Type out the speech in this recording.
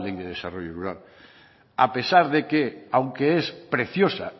de desarrollo rural a pesar de que aunque es preciosa